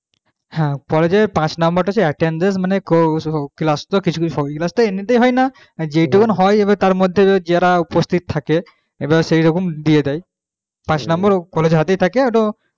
হ্যাঁ কলেজের পাঁচ number টা হচ্ছে attendence মানে কো class তো কিছু কিছু সব class তো এমনিতেই হয়না যেইটুকু হয় এবার তার মধ্যে যারা উপস্থিত থাকে এবার সেই রকম দিয়ে দেয় পাঁচ number college এর হাতেই থাকে ওটা ও